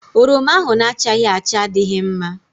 Oroma ahụ na-achaghị acha adịghị mma.